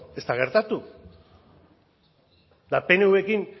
ez da gertatu eta pnvrekin